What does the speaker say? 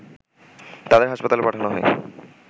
তাদের হাসপাতালে পাঠানো হয়